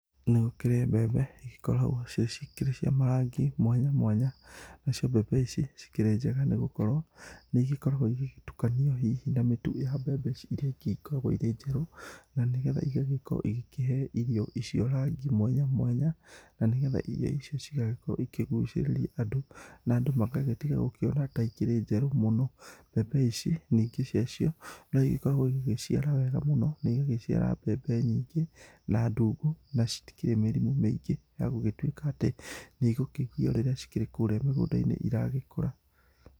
Nĩ gũkoragwo mbembe igĩkoragwo cio ciĩ cia marangi mwanya mwanya, nacio mbembe ici cikĩrĩ njega nĩ gũkorwo nĩ igĩkoragwo igĩtukanio na mĩtu ya mbembe ici ingĩ cigĩkoragwo irĩ njerũ. Na nĩ getha igagĩkorwo ikĩhe irio icio rangi mwanya mwanya na nĩ getha irio icio cigagĩkorwo ikigucĩrĩria andũ. Na andũ magagĩtiga gũkĩona ta ikirĩ njerũ mũno. Mbembe ici nyingĩ cia cio no igĩkoragwo igigĩciara wega mũno na igagĩciara mbembe nyingĩ na ndungũ na citikĩri mĩrimũ mĩingĩ, ya gũgĩtuĩka atĩ nĩ igũkĩgio rĩrĩa cikĩrĩ kũrĩa mĩgũnda-inĩ iragĩkura.